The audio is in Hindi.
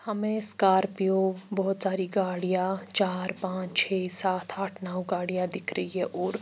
हमे स्कार्पियो बहोत सारी गाड़िया चार पाच छे साथ आठ नो गाड़िया दिख रही है और--